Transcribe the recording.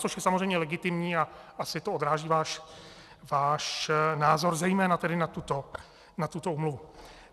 Což je samozřejmě legitimní a asi to odráží váš názor zejména tedy na tuto úmluvu.